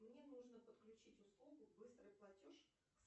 мне нужно подключить услугу быстрый платеж